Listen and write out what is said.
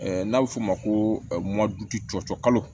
N'a bɛ f'o ma ko cɔcɔ kalo